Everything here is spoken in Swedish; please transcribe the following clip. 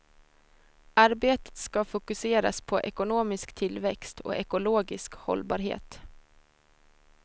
Arbetet ska fokuseras på ekonomisk tillväxt och ekologisk hållbarhet.